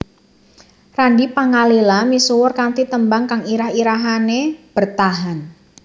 Randy Pangalila misuwur kanthi tembang kang irah irahané Bertahan